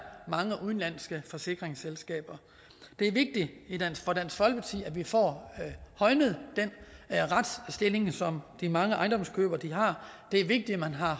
mange udenlandske forsikringsselskaber det er vigtigt for dansk folkeparti at vi får højnet den retsstilling som de mange ejendomskøbere har det er vigtigt at man har